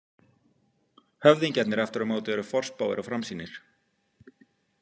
Höfðingjarnir aftur á móti eru forspáir og framsýnir.